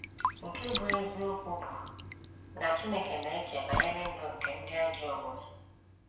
Nke bụ́ eziokwu bụ na Chineke na - eche banyere ndụ nke ndị ajọ omume.